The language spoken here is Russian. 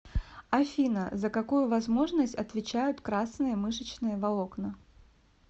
афина за какую возможность отвечают красные мышечные волокна